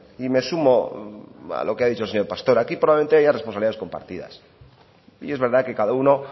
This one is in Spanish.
y me sumo a lo que ha dicho el señor pastor aquí probablemente haya responsabilidades compartidas y es verdad que cada uno